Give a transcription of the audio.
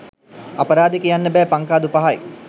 අපරාදේ කියන්න බෑ පංකාදු පහයි